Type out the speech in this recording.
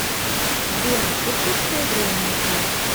сбер иркутское время узнать